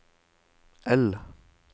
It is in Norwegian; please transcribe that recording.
L